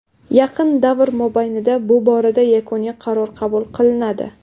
Yaqin davr mobaynida bu borada yakuniy qaror qabul qilinadi.